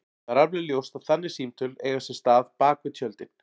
Það er alveg ljóst að þannig símtöl eiga sér stað bak við tjöldin.